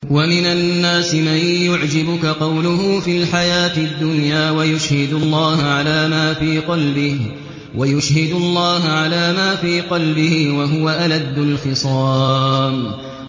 وَمِنَ النَّاسِ مَن يُعْجِبُكَ قَوْلُهُ فِي الْحَيَاةِ الدُّنْيَا وَيُشْهِدُ اللَّهَ عَلَىٰ مَا فِي قَلْبِهِ وَهُوَ أَلَدُّ الْخِصَامِ